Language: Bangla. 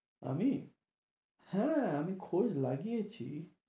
আমি? হ্যাঁ, আমি খোঁজ লাগিয়েছি।